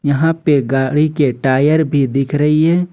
यहां पे गाड़ी के टायर भी दिख रही है।